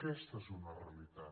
aquesta és una realitat